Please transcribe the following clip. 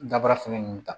Dabaara fɛnɛ ninnu ta